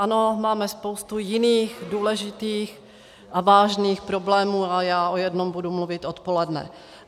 Ano, máme spoustu jiných důležitých a vážných problémů a já o jednom budu mluvit odpoledne.